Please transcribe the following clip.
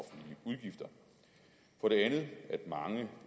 for det andet at mange